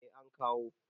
eh an kawo